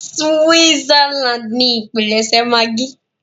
Switzerland ni ipílẹṣẹ maggi.